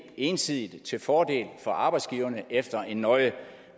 ensidigt til fordel for arbejdsgiverne efter en nøje